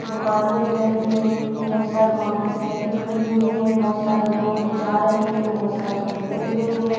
दुकानें दिख रही हैं बहुत सारी मोटरसाइकिल खड़ी हुई हैं बहुत सारे लोग जा रहे हैं बहुत सारे खड़े हुए हैं।